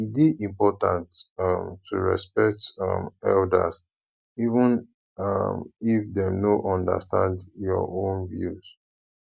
e dey important um to respect um elders even um if dem no understand your own views